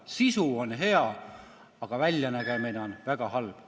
Sisu on hea, aga väljanägemine on väga halb.